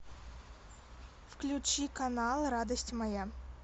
включи канал радость моя